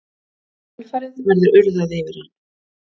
Í kjölfarið verður urðað yfir hann.